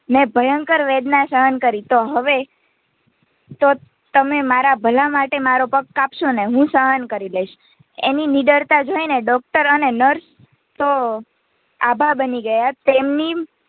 મેં ભયંકર વેદના સહન કરી તો હવે તો તમે મારા ભલા માટે મારો પગ કાપશો ને હું સહન કરી લઈશ એની નીડરતા જોઈને Doctor અને Nurse તો આભા બની ગયાં તેમની